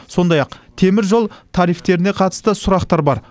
сондай ақ теміржол тарифтеріне қатысты сұрақтар бар